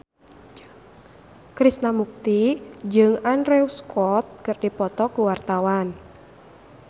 Krishna Mukti jeung Andrew Scott keur dipoto ku wartawan